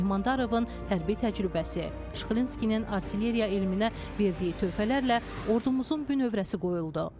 Mehmandarovun hərbi təcrübəsi, Şıxlinskinin artilleriya elminə verdiyi töhfələrlə ordumuzun bünövrəsi qoyuldu.